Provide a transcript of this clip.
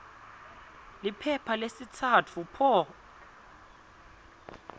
liphepha lesitsatfu p